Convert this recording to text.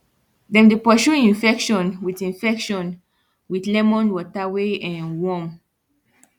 dem dey pursue infection with infection with lemon water wey um warm